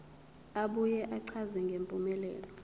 abuye achaze ngempumelelo